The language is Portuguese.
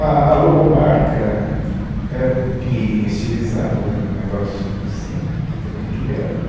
A a logomarca era um pinheirinho estilizado né, um negócio assim, que também criamos.